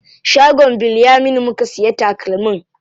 Shagon Bilyaminu muka siya takalmin.